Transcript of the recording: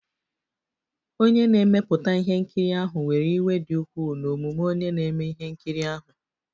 Onye na-emepụta ihe nkiri ahụ were iwe dị ukwuu n'omume onye na-eme ihe nkiri ahụ